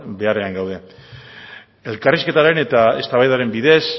beharrean gaude elkarrizketaren eta eztabaidaren bidez